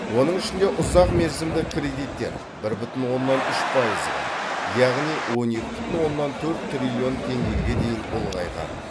оның ішінде ұзақ мерзімді кредиттер бір бүтін оннан үш пайызға яғни он екі бүтін оннан төрт триллион теңгеге дейін ұлғайған